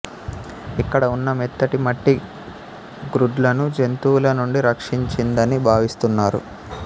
ఇక్కడ ఉన్న మెత్తటి మట్టి గ్రుడ్లను జంతువుల నుండి రక్షించిందని భావిస్తున్నారు